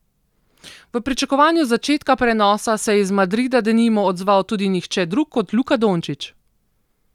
V pričakovanju začetka prenosa se je iz Madrida denimo odzval tudi nihče drug kot Luka Dončić.